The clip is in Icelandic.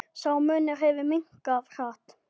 Sá munur hefur minnkað hratt.